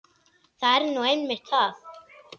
Það er nú einmitt það!